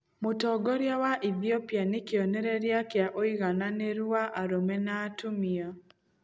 Mũtongoria wa Ethiopia nĩ kĩonereria kĩa ũigananĩru wa arũme na atumia.